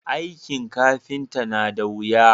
aikin kafinta na da wuya